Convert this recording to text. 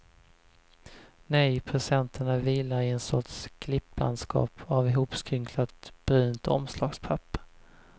Nej, presenterna vilar i en sorts klipplandskap av hopskrynklat brunt omslagspapper.